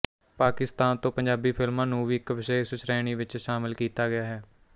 ਪਾਕਿਸਤਾਨ ਤੋਂ ਪੰਜਾਬੀ ਫਿਲਮਾਂ ਨੂੰ ਵੀ ਇੱਕ ਵਿਸ਼ੇਸ਼ ਸ਼੍ਰੇਣੀ ਵਿੱਚ ਸ਼ਾਮਲ ਕੀਤਾ ਗਿਆ ਹੈ